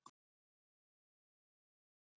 Með vitund og vilja forstöðukonunnar.